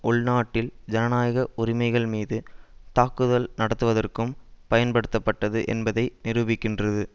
உள் நாட்டில் ஜனநாயக உரிமைகள் மீது தாக்குதல் நடத்துவதற்கும் பயன்படுத்தப்பட்டது என்பதை நிரூபிக்கின்றது